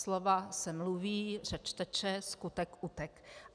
Slova se mluví, řeč teče, skutek utek.